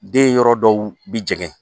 Den yɔrɔ dɔw bi jɛŋɛ.